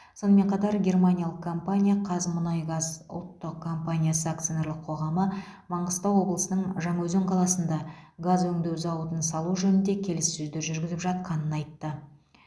сонымен қатар германиялық компания қазмұнайгаз ұлттық компаниясы акционерлік қоғамы маңғыстау облысының жаңаөзен қаласында газ өңдеу зауытын салу жөнінде келіссөздер жүргізіп жатқанын айтты